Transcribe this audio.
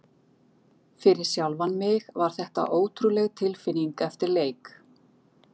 Fyrir sjálfan mig var þetta ótrúleg tilfinning eftir leik.